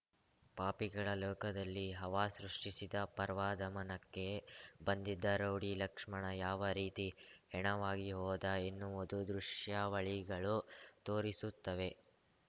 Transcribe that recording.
ಪಾಪಿಗಳ ಲೋಕದಲ್ಲಿ ಹವಾ ಸೃಷ್ಟಿಸಿದ ಪರ್ವಾದಮನಕ್ಕೆ ಬಂದಿದ್ದ ರೌಡಿ ಲಕ್ಷ್ಮಣ ಯಾವ ರೀತಿ ಹೆಣವಾಗಿ ಹೋದ ಎನ್ನುವುದು ದೃಶ್ಯಾವಳಿಗಳು ತೋರಿಸುತ್ತವೆ